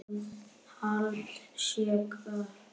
Mikils aðhalds sé gætt.